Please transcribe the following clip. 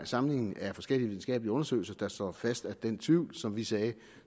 sammenligning af forskellige videnskabelige undersøgelser der slår fast at den tvivl som vi sagde